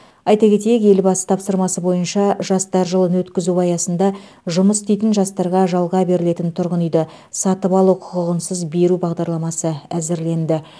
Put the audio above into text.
айта кетейік елбасы тапсырмасы бойынша жастар жылын өткізу аясында жұмыс істейтін жастарға жалға берілетін тұрғын үйді сатып алу құқығынсыз беру бағдарламасы әзірленді